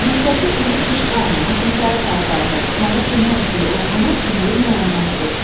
Məktəbli Emil Tışbayın bu gün səhər saatlarında tutmağa kömək etdiyi oğrunun kimliyi müəyyənləşdi.